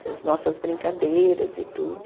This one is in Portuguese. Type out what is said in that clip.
Das nossas brincadeiras e tudo.